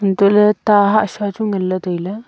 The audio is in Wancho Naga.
antoley tah hasha chu nganley tailey.